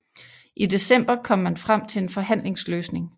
I december kom man frem til en forhandlingsløsning